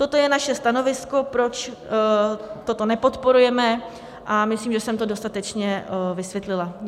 To je naše stanovisko, proč toto nepodporujeme, a myslím, že jsem to dostatečně vysvětlila.